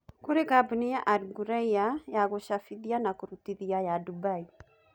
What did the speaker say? kũrĩ kambuni ya Al-Ghurair Printing and Publishing ya Dubai.